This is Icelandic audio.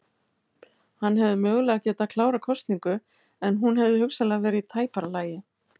Hann hefði mögulega getað klárað kosningu en hún hefði hugsanlega verið í tæpara lagi.